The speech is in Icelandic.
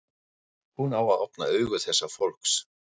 Hún á að opna augu þessa fólks.